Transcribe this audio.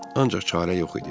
Ancaq çarə yox idi.